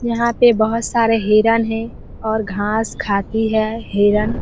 यहाँ पे बहुत सारे हिरन हैं और घास खाती है हिरन।